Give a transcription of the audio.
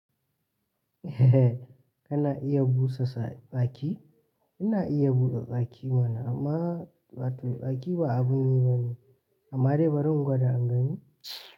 Kana iya busa sa tsaki? Ina iya busa tsaki mana amma ma wato tsaki ba abun yi bane. Amma dai bari in gwada in gani?